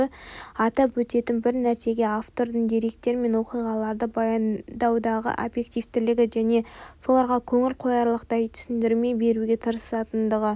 атап өтетін бір нәрсе автордың деректер мен оқиғаларды баяндаудағы объективтілігі және соларға көңіл қоярлықтай түсіндірме беруге тырысатындығы